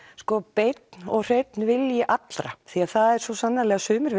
beinn og hreinn vilji allra því það eru svo sannarlega sumir